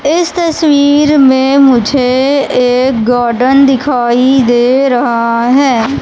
इस तस्वीर में मुझे एक गार्डन दिखाई दे रहा है।